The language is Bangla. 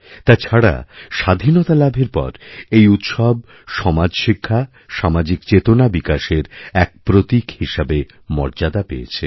তাছাড়া স্বাধীনতালাভের পর এই উৎসব সমাজশিক্ষা সামাজিক চেতনা বিকাশেরএক প্রতীক হিসাবে মর্যাদা পেয়েছে